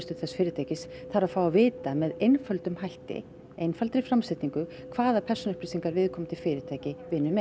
þess fyrirtækis þarf að fá að vita með einföldum hætti einfaldri framsetningu hvaða persónuupplýsingar viðkomandi fyrirtæki vinnur með